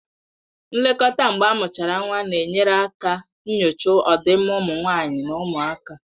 Nlekọta mgbe amuchara nwa na-enyere aka nyochaa ọdịmma ụmụ nwanyị na ụmụaka